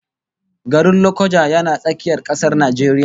Garin Lokoja yana tsakiyar kasar Najeriya